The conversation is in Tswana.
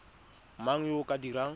mang yo o ka dirang